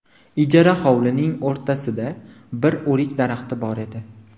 Ijara hovlining o‘rtasida bir o‘rik daraxti bor edi.